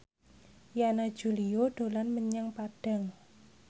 Yana Julio dolan menyang Padang